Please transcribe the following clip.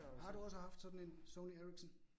Har du også haft sådan en Sony Ericson?